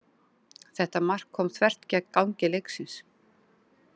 Þetta mark kom þvert gegn gangi leiksins.